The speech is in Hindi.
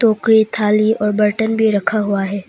टोकरी थाली और बर्तन भी रखा हुआ है।